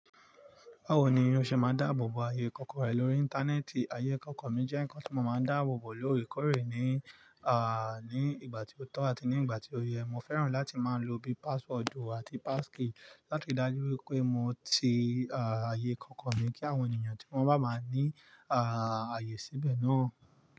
Báwo ni o ṣe máa dáàbò bo ààyè kọ̀ọ̀kan rẹ lórí Íńtánẹ́ẹ̀tì? Ààyè kọ̀ọ̀kan mi jẹ́ nnkan tí mo máa ń dáàbò bo lóòrèkóòrè ní, à, ní ìgbà tí ó tọ́ àti ní ìgbà tí ó yẹ. Mo fẹ́ràn láti máa lo bíi páswoodù àti pásskey láti dájú wípé mo ti, à, ààyè kọ̀ọ̀kan mi kí àwọn ènìyàn tí wọ́n bá máa ní, à, ààyè síbẹ̀ náà.